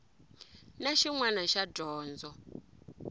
na xin wana xa dyondzo